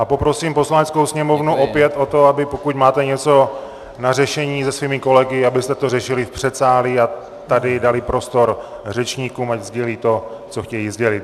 A poprosím Poslaneckou sněmovnu opět o to, aby pokud máte něco na řešení se svými kolegy, abyste to řešili v předsálí a tady dali prostor řečníkům, ať sdělí to, co chtějí sdělit.